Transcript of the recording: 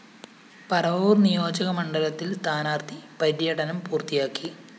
പറവൂര്‍ നിയോജകമണ്ഡലത്തില്‍ സ്ഥാനാര്‍ത്ഥി പര്യടനം പൂര്‍ത്തിയാക്കി